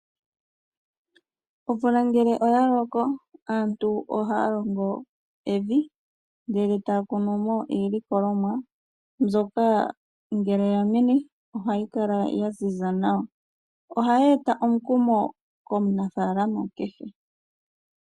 Omvula ngele oya loko, aantu ohaya longo evi ndele taya kunu mo iilikolomwa ,mbyoka ngele ya mene oha yi kala ya ziza nawa oha yi e ta omukumo komunafalama kehe.